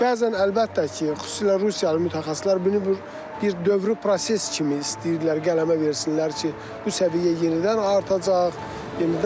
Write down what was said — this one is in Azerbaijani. Bəzən əlbəttə ki, xüsusilə Rusiyalı mütəxəssislər bunu bir dövrü proses kimi istəyirlər qələmə versinlər ki, bu səviyyə yenidən artacaq.